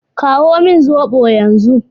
Kawo min zobo yanzu.